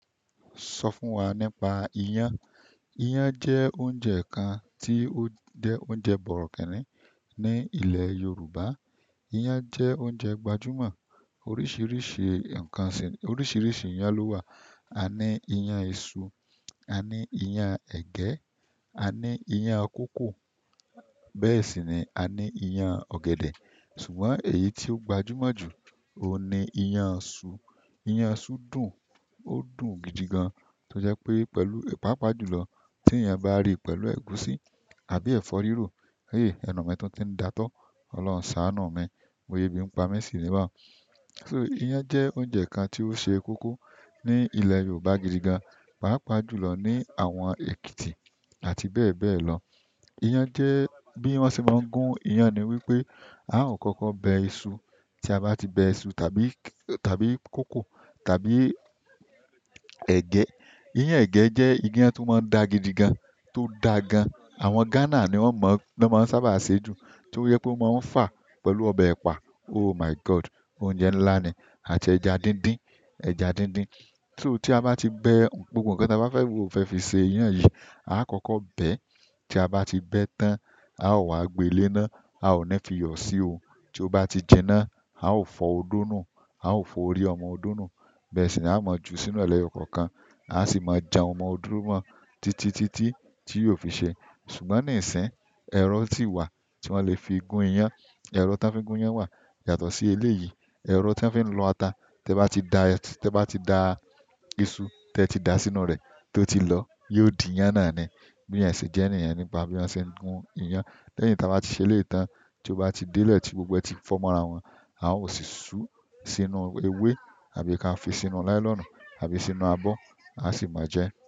Sọ fún wa nípa iyán. Iyán jẹ́ oúnjẹ kan tí ó jẹ́ oúnjẹ bọ̀rọ̀kínní ní ilẹ̀ Yorùbá. Iyán jẹ́ oúnjẹ gbajúmọ̀. Oríṣiríṣi ǹkan ṣìn, oríṣiríṣi iyán ló wà. A ní iyán isu, a ní iyán ẹ̀gẹ́, a ní iyán kókò, bẹ́ẹ̀ sì ni a ní iyán ọ̀gẹ̀dẹ̀. Ṣùgbọ́n èyí tí ó gbajúmọ̀ jù ó ni iyán iṣu. Iyán iṣu dùn, ó dùn gidi gan. Tó jẹ́ pé pẹ̀lú, pàápàá jùlọ tí eyán bá rí pẹ̀lú ẹ̀gúsí àbí ẹ̀fọ́ rírò, ẹnu mi tún ti ń dàótọ́, Ọlọ́run ṣáanu mi, bo ya ebí ń pa mi ṣì ní bà un. So iyán jẹ́ oúnjẹ kan tí ó ṣe kókó ní ilẹ̀ Yorùbá gidi gan, pàápàá jùlọ ní àwọn Èkìtì àti bẹ́ẹ̀ bẹ́ẹ̀ lọ. Iyán jẹ́, bí wọ́n ṣe máa ń gún iyán ni wípé a ó kọ́kọ́ bẹ iṣu. Tí a bá ti bẹ iṣu tàbí kókò tàbí ẹ̀gẹ́, iyán ẹ̀gẹ́ jẹ́ iyán tí ó máa ń dà gidi gan, tó dà gan. Àwọn Ghana ni wọ́n mọ̀, wọ́n máa ń sábà ṣe jù, tí ó jẹ pé o máa ń fà á pẹ̀lú ọbẹ̀ ẹ̀pà. Oh my God! Oúnjẹ ńlá ni àti ẹja dídín, ẹja dídín. Ti a ba ti be gbogbo nkan taba fe fi se iyan yi, aa koko bẹ́ẹ̀. Tí a bá ti bẹ tán, a ó wá gbé e léná, a ó ni fi yọ̀ sí o. Tí ó bá ti jinná, a ó fọ odó nù, a ó fọ orí ọmọ odó nù. Bẹ́ẹ̀ sì ni a máa ju sínú ẹ leyo kọ̀ọ̀kan. A sì máa jan ọmọ odó mọ títí títí tí yóò fi ṣe. Ṣùgbọ́n níìsín, ẹ̀rọ ti wà tí wọ́n lè fi gún iyán. Ẹ̀rọ tí wọ́n fí ń gún iyán wà. Yàtọ̀ sí elé yìí, ẹ̀rọ tí wọ́n fí ń lọ ata. Tí ẹ bá ti da, tí ẹ bá ti da iṣu tí ẹ ti dà sínú rẹ̀ tó ti lọ, yóò di iyán náà ni. Bí iyen ṣe jẹ́ niyen nípa bí wọ́n se ń gún iyán. Lẹ́yìn tí a bá ti ṣe ilé ìtàn, tí ó bá ti délé tí gbogbo ẹ́ ti fọ́ mọ́ra wọn, a ó sì sú sínú ewé àbí ka fi sínú ńlá nylon àbí sínú abọ́, a sì máa jẹ ẹ́.